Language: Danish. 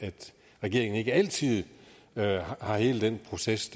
regeringen ikke altid har hele den proces